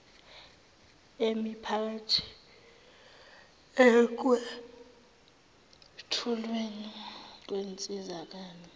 emiphakathi ekwethulweni kwensizakalo